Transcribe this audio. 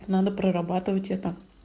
надо прорабатывать это